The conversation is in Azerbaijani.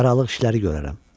Aralıq işləri görərəm.